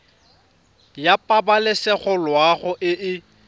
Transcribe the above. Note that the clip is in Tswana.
ya pabalesego loago e e